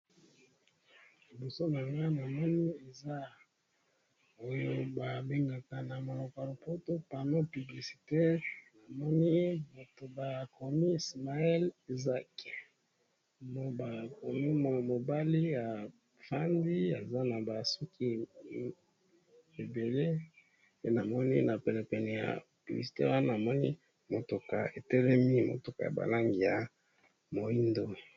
Na liboso nanga nazomona paneau publicitaire bakomi Ismael Zake, na mwana mobali aza na basuki ebele, na mutuka etelemi ya langi ya moindo.